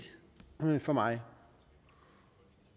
for mig